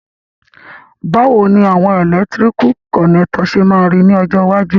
Bàwoni àwon electrical connector se ma ri ni ọjọ́ iwájú?